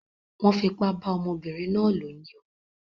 Wón fipá bá ọmọbínrin náà lò ní o